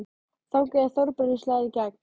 Þangað til Þórbergur slær í gegn.